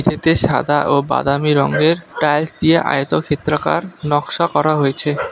এতে সাদা ও বাদামি রঙের টাইলস দিয়ে আয়তক্ষেত্রকার নকশা করা হয়েছে।